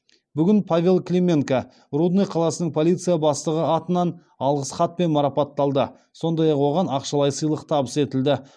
бүгін павел клименко рудный қаласының полиция бастығы атынан алғыс хатпен марапатталды сондай ақ оған ақшалай сыйлық табыс етілді